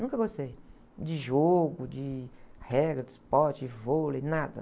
Nunca gostei de jogo, de regra de esporte, de vôlei, nada.